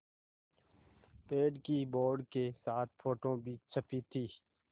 पेड़ की बोर्ड के साथ फ़ोटो भी छपी थी